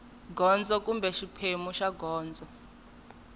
gondzo kumbe xiphemu xa gondzo